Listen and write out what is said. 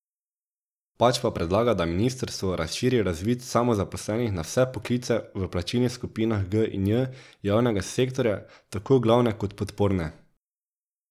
Pač pa predlaga, da ministrstvo razširi razvid samozaposlenih na vse poklice v plačnih skupinah G in J javnega sektorja, tako glavne kot podporne.